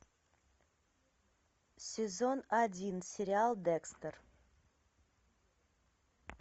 сезон один сериал декстер